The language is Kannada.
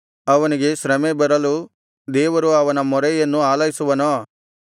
ಅವನಿಗೆ ಶ್ರಮೆ ಬರಲು ದೇವರು ಅವನ ಮೊರೆಯನ್ನು ಆಲೈಸುವನೋ